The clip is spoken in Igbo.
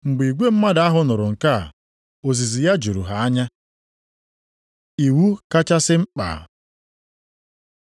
Mgbe igwe mmadụ ahụ nụrụ nke a, ozizi ya juru ha anya. Iwu kachasị mkpa